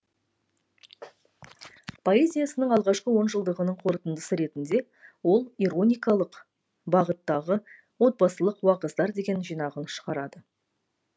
поэзиясының алғашқы онжылдығының қорытындысы ретінде ол ироникалық бағыттағы отбасылық уағыздар деген жинағын шығарады